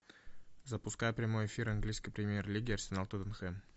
запускай прямой эфир английской премьер лиги арсенал тоттенхэм